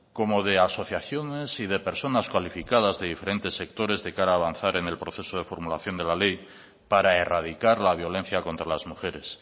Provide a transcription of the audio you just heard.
como de asociaciones y de personas cualificadas de diferentes sectores de cara a avanzar en el proceso de formulación de la ley para erradicar la violencia contra las mujeres